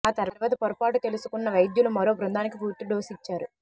ఆ తర్వాత పొరపాటు తెలుసుకున్న వైద్యులు మరో బృందానికి పూర్తి డోసు ఇచ్చారు